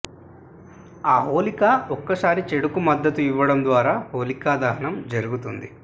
ఆ హోలిక ఒకసారి చెడుకు మద్దతు ఇవ్వడం ద్వారా హోలిక దహనం జరుగుతుంది